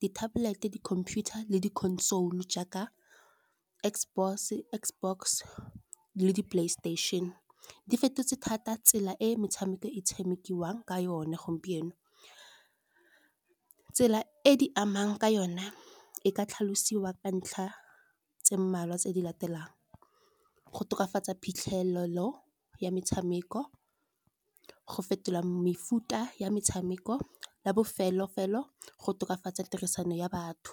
di-tablet, di-computer le di console jaaka X box le di-playstation. Di fetotse thata tsela e metshameko e tshamekiwang ka yone gompieno, tsela e di amang ka yona e ka tlhalosiwa ka ntlha tse mmalwa tse di latelang. Go tokafatsa phitlhelelo ya metshameko, go fetola mefuta ya metshameko, la bofelo-felo go tokafatsa tirisano ya batho.